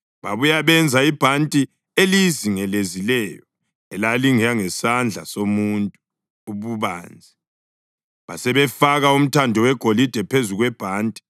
Babuya benza ibhanti eliyizingelezileyo, elalingangesandla somuntu ububanzi, basebefaka umthando wegolide phezu kwebhanti.